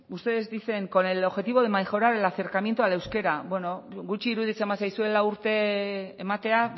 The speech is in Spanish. ustedes dicen con el objetivo de mejorar el acercamiento al euskera bueno gutxi iruditzen bazaizue lau urte ematea